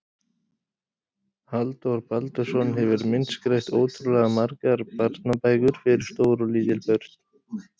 Halldór Baldursson hefur myndskreytt ótrúlega margar barnabækur fyrir stór og lítil börn.